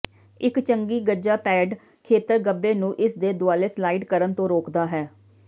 ਇੱਕ ਚੰਗੀ ਗੱਜਾ ਪੈਡ ਖੇਤਰ ਗੱਭੇ ਨੂੰ ਇਸਦੇ ਦੁਆਲੇ ਸਲਾਈਡ ਕਰਨ ਤੋਂ ਰੋਕਦਾ ਹੈ